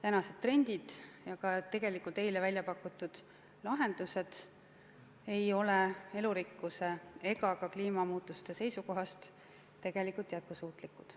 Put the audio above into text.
Senised trendid ja ka tegelikult eile välja pakutud lahendused ei ole elurikkuse ja ka kliimamuutuste seisukohast tegelikult jätkusuutlikud.